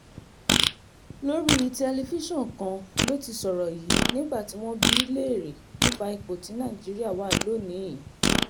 lórí tẹlifíṣàn kan ló ti sọ̀rọ̀ yìí nígbà tí wọ́n ń bi léèrè nípa ipò tí nàìjíríà wà lónì-ín